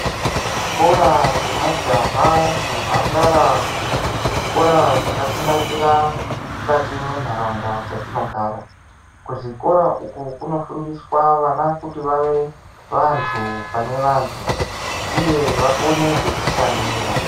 Zvikora zvemajaha nemhandara zvikora zvakatinakira mukati mwendaraunda dzatinogara kuzvikora uku kuno fundiswa vana kuti vava vantu pane vantu uye kuti vakone kuzvishandira.